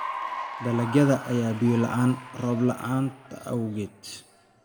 Dalagyada ayaa biyo la'aana roob la'aanta awgeed.